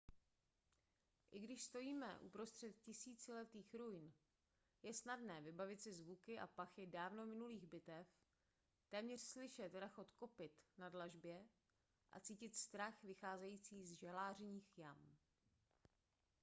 i když stojíme uprostřed tisíciletých ruin je snadné vybavit si zvuky a pachy dávno minulých bitev téměř slyšet rachot kopyt na dlažbě a cítit strach vycházející z žalářních jam